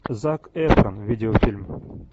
зак эфрон видеофильм